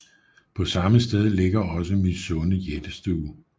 På samme sted ligger også Mysunde jættestue